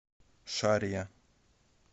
шарья